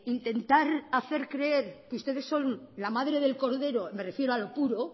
intentar hacer creer que ustedes son la madre del cordero me refiero a lo puro